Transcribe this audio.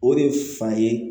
O de ye fa ye